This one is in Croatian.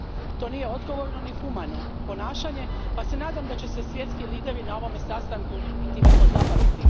To nije odgovorno ni humano ponašanje pa se nadam da će se svjetski lideri na ovome sastanku i time pozabaviti.